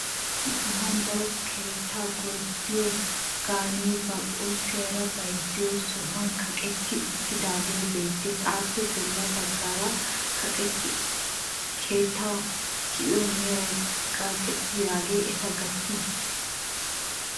Issi sohuwan daro keettaa gorddiyo gaanee ba qulpiyaara bayizziyo sohuwan kaqetti uttidaagee beettes. Appe bolla baggan keettaa tiyiyo meray kaqettidaagee eta gattii?